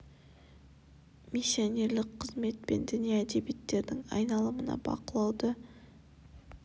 миссионерлік қызмет пен діни әдебиеттердің айналымына бақылауды қамтамасыз ету бойынша мемлекеттік органдар үшін әдістемелік ұсынымдарды